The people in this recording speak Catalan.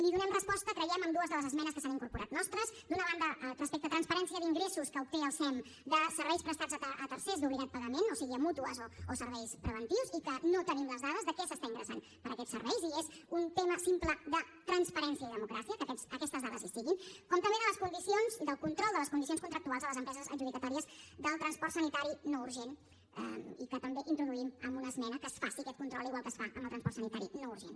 hi donem resposta creiem amb dues de les esmenes que s’han incorporat nostres d’una banda respecte a transparència d’ingressos que obté el sem de serveis prestats a tercers d’obligat pagament o sigui a mútues o serveis preventius i que no tenim les dades de què s’està ingressant per aquests serveis i és un tema simple de transparència i democràcia que aquestes dades hi siguin com també del control de les condicions contractuals a les empreses adjudicatàries del transport sanitari no urgent i que també introduïm amb una esmena que es faci aquest control igual que es fa amb el transport sanitari urgent